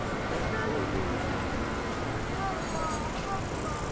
Mənim gül üzlü qızımı dirilt, Allah, Allah!